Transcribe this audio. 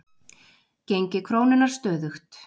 Gengi krónunnar stöðugt